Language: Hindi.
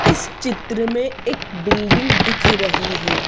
इस चित्र में एक बिल्डिंग दिख रही है।